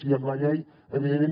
i amb la llei evidentment